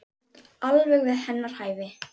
Þú ert alveg við hennar hæfi.